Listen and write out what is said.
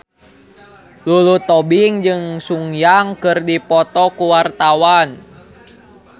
Lulu Tobing jeung Sun Yang keur dipoto ku wartawan